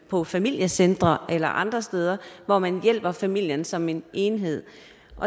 på familiecentre eller andre steder hvor man hjælper familien som en enhed